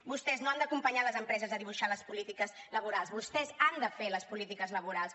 vostès no han d’acompanyar les empreses a dibuixar les polítiques laborals vostès han de fer les polítiques laborals